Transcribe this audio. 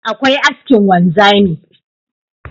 akwai askin wanzami